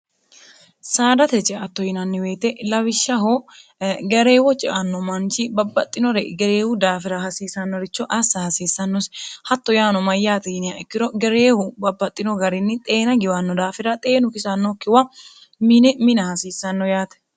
saadate ceatto yinanniweyite lawishshaho gareewo cianno manchi babbaxxinore gereewu daafira hasiissannoricho assa hasiissannosi hatto yaano mayyaaxi yinia ikkiro gereewu babbaxxino garinni xeena giwanno daafira xeenu kisannokkiwa mini mina hasiissanno yaate